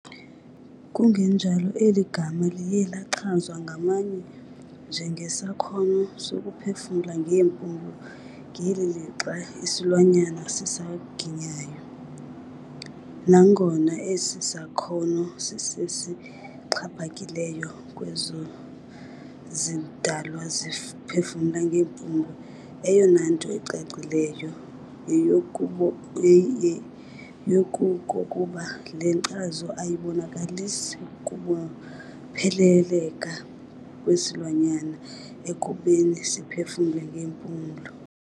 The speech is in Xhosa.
Kungenjalo, eli gama liye lachazwa ngabanye njengesakhono sokuphefumla ngeempumlo ngeli lixa isilwanyana sisaginyayo. Nangona esi sakhono sisesixhaphakileyo kwezo zidalwa ziphefumla ngeempumlo, eyonanto icacileyo yeyokokuba le nkcazo ayibonakalisi kubopheleleka kwesilwanyana ekubeni siphefumle ngeempulo.